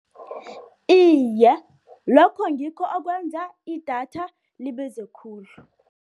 Iye, lokho ngikho okwenza idatha libize khulu.